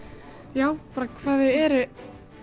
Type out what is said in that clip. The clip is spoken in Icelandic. já hvað þau eru